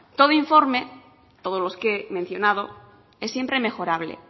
todo informe todos los que he mencionado es siempre mejorable